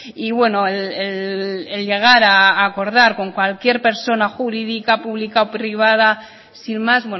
y bueno el llegar a acordar con cualquier persona jurídica pública o privada sin más